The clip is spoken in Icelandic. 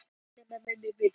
Maturinn er til.